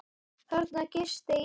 Þarna gisti ég.